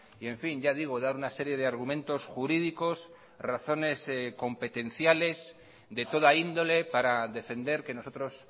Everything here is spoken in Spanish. y en fin ya digo dar una serie de argumentos jurídicos razones competenciales de toda índole para defender que nosotros